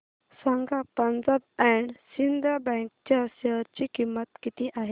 सांगा Punjab and Sind bank च्या share ची किंमत किती आहे